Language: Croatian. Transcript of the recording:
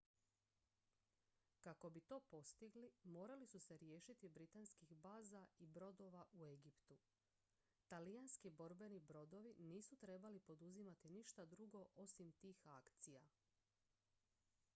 kako bi to postigli morali su se riješiti britanskih baza i brodova u egiptu talijanski borbeni brodovi nisu trebali poduzimati ništa drugo osim tih akcija